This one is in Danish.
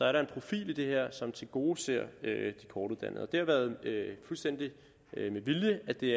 er der en profil i det her som tilgodeser de kortuddannede det har været fuldstændig med vilje at det